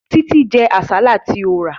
Títí jẹ àsálà tí mo rà